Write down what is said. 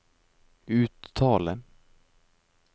uttale